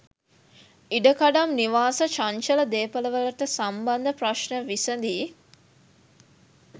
ඉඩකඩම් නිවාස චංචල දේපලවලට සම්බන්ධ ප්‍රශ්න විසඳී